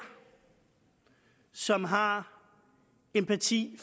som har empati